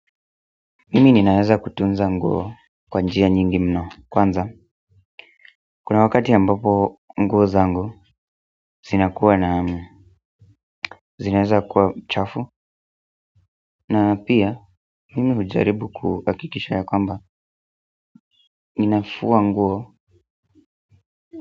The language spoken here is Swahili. Mimi ninaweza kutunza nguo kwa njia nyingi mno kwanza kuna wakati ambapo nguo zangu zinakuwa na zinaweza kuwa chafu. Na pia mimi hujaribu kuhakikisha ya kwamba ninafua nguo.